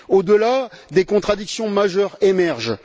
Au delà, des contradictions majeures émergent.